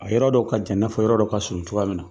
A yɔrɔ dɔ ka jan i n'a fɔ yɔrɔ dɔ ka surun cogoya min na .